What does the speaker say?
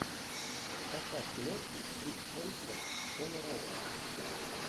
поставь киношку крис хемсворт школа рока